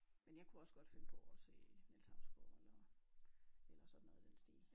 Men jeg kunne også godt finde på at se Niels Hausgaard eller eller sådan noget i den stil